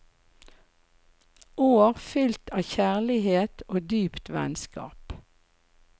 År fylt av kjærlighet og dypt vennskap.